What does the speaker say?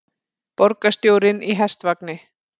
Borgarstjórinn í hestvagni